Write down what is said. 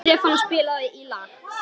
Stefana, spilaðu lag.